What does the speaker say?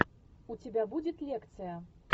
у тебя будет лекция